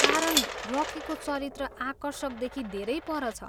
कारण रकीको चरित्र आकर्षकदेखि धेरै पर छ।